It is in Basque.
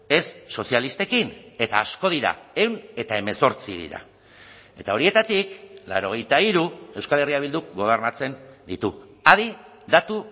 ez sozialistekin eta asko dira ehun eta hemezortzi dira eta horietatik laurogeita hiru euskal herria bilduk gobernatzen ditu adi datu